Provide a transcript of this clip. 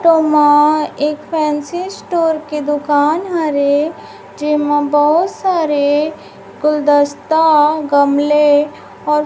तो मा एक फैंसी स्टोर के दुकान हरे जेमा बहुत सारे गुलदस्ता और गमले और --